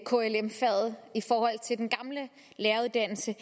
klm faget i forhold til den gamle læreruddannelse